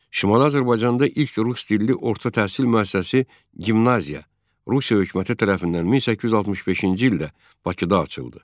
Şimali Azərbaycanda ilk rus dilli orta təhsil müəssisəsi – gimnaziya, Rusiya hökuməti tərəfindən 1865-ci ildə Bakıda açıldı.